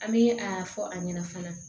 An bɛ a fɔ a ɲɛna fana